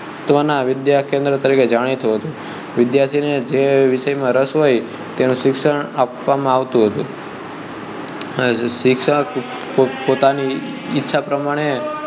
તવા ના વિદ્યાકેન્દ્ર તરીકે જાણીતું હતું વિદ્યાર્થીઓ ને જે વિષય માં રસ હોઈ તેનું શિક્ષણ આપવામાં આવતું હતું અને શિક્ષક પોતાની ઈચ્છા પ્રમાણે